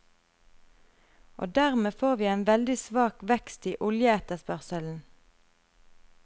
Og dermed får vi en veldig svak vekst i oljeetterspørselen.